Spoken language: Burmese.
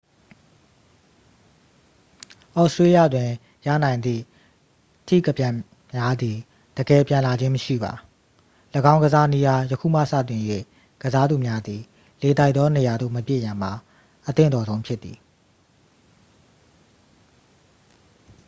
သြစတြေးလျတွင် ရနိုင်သည့် ထိကပြန်များသည် တကယ် ပြန်လာခြင်း မရှိပါ ၎င်းကစားနည်းအား ယခုမှ စတင်၍ ကစားသူများသည် လေတိုက်သောနေရာသို့ မပစ်ရန်မှာ အသင့်တော်ဆုံး ဖြစ်သည်